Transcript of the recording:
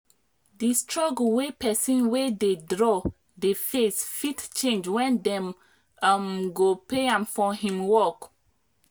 the struggle wey pesin wey dey draw dey face fit change when dem um go pay am for him work